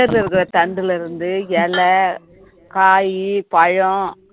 வேர்ல இருக்கிற தண்டுல இருந்து இலை, காயி, பழம்